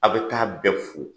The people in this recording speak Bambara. A bɛ taa bɛɛ fo.